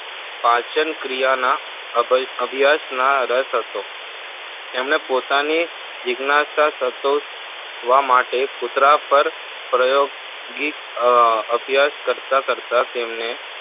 પાચનક્રિયા ના અભ્યાશમાં રસ હતો જેમને પોતાની જિજ્ઞાનાશા સંતોષવા માટે કુતરા પર પ્રયોગ અમ અભ્યાશ કરતા કરતા તેમને